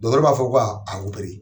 Dɔgɔtɔrɔ b'afɔ ko ka opéré